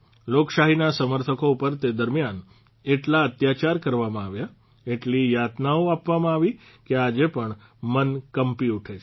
લોકશાહીના સમર્થકો ઉપર તે દરમિયાન એટલા અત્યાચાર કરવામાં આવ્યા એટલી યાતનાઓ આપવામાં આવી કે આજે પણ મન કંપી ઉઠે છે